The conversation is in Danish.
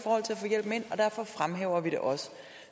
og derfor fremhæver vi det også